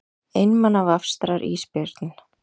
Einmana vafstrar ísbjörninn.